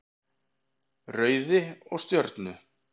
Rauði og Stjörnu.